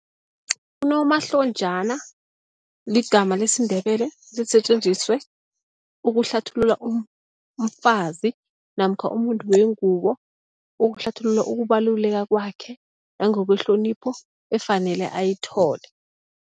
Unomahlonjana ligama lesiNdebele, lisetjenziswe ukuhlathulula umfazi namkha umuntu wengubo, ukuhlathulula ukubaluleka kwakhe nangokwehlonipho efanele ayithole.